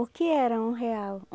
O que era um real?